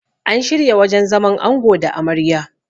an shirya wajen zaman ango da Amarya